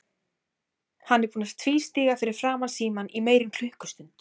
Hann er búinn að tvístíga fyrir framan símann í meira en klukkustund.